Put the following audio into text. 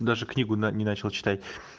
даже книгу но не начал читать